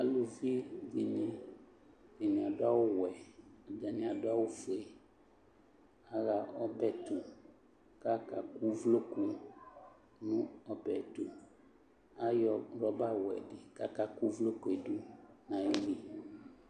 aluvi dini atani adu awu wɛ ɛdini adu awu fue aɣa ɔbɛ to k'aka kò uvloku no ɔbɛ yɛ to ayɔ rɔba wɛ di k'aka kò uvloku yɛ do n'ayili